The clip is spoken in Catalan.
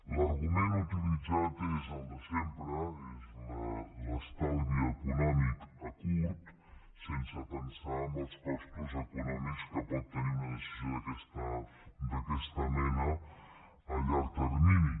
l’argument utilitzat és el de sempre és l’estalvi econòmic a curt termini sense pensar en els costos econòmics que pot tenir una decisió d’aquesta mena a llarg termini